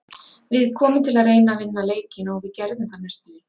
Við komum til að reyna að vinna leikinn og við gerðum það næstum því.